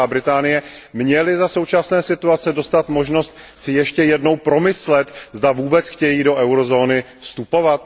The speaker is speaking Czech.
Velká Británie, měly za současné situace dostat možnost si ještě jednou promyslet, zda vůbec chtějí do eurozóny vstupovat?